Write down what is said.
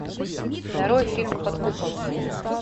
нарой фильм под куполом